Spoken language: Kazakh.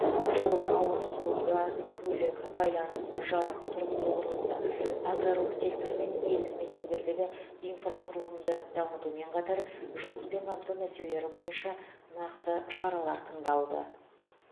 жол ауыз су газ көлік байланыс жарық тұрғын үй құрылысы аграрлық сектор мен елді мекендердегі инфрақұрылымды дамытумен қатар жұмыспен қамту мәселелері бойынша нақты шаралар тындалды